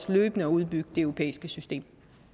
løbende at udbygge det europæiske system